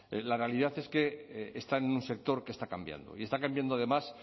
la realidad es que están en un sector que está cambiando y está cambiando además